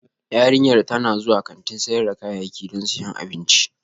Yarinyar tana zuwa kantin sayar da kayayyaki don siyan abinci